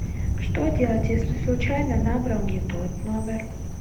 что делать если случайно набрал не тот номер